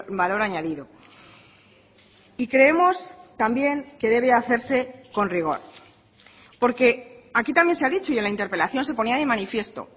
valor añadido y creemos también que debe hacerse con rigor porque aquí también se ha dicho y en la interpelación se ponía de manifiesto